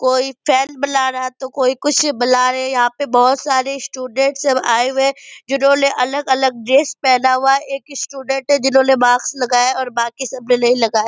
कोई बना रहा है तो कोई कुछ बना रहे हैं यहाँ पर बहुत सारे स्टूडेंट सब आए हुए हैं जिन्होंने अलग-अलग ड्रेस पहना हुआ है एक स्टूडेंट है जिन्होंने माक्स लगाया और बाकी सब ने नहीं लगाया ।